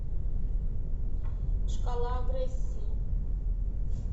шкала агрессии